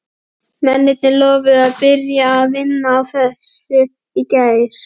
Mennirnir lofuðu að byrja að vinna að þessu í gær.